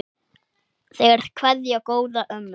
Þeir kveðja góða ömmu.